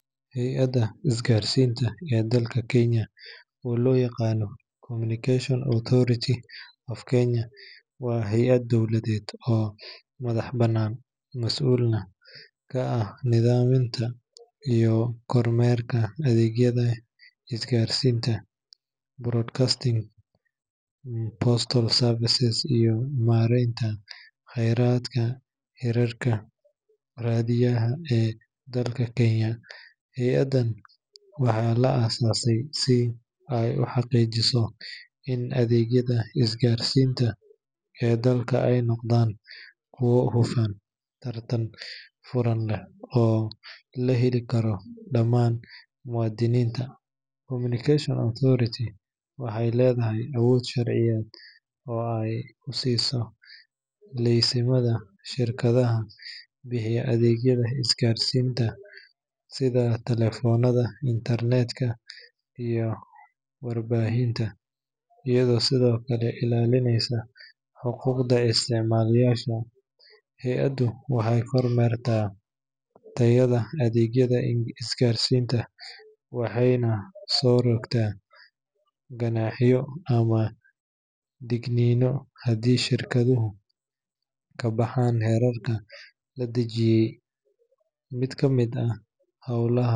Hay’adda isgaarsiinta ee dalka Kenya oo loo yaqaan Communication Authority of Kenya waa hay’ad dowladeed oo madax bannaan, mas’uulna ka ah nidaaminta iyo kormeerka adeegyada isgaarsiinta, broadcasting, postal services, iyo maaraynta khayraadka hirarka raadiyaha ee dalka Kenya. Hay’addan waxaa la aasaasay si ay u xaqiijiso in adeegyada isgaarsiinta ee dalka ay noqdaan kuwo hufan, tartan furan leh, oo la heli karo dhammaan muwaadiniinta. Communication Authority waxay leedahay awood sharciyeed oo ay ku siiso laysimada shirkadaha bixiya adeegyada isgaarsiinta sida taleefanada, internet-ka, iyo warbaahinta, iyadoo sidoo kale ilaalinaysa xuquuqda isticmaalayaasha. Hay’addu waxay kormeertaa tayada adeegyada isgaarsiinta, waxayna soo rogtaa ganaaxyo ama digniino haddii shirkaduhu ka baxaan xeerarka la dejiyey. Mid ka mid ah howlaha.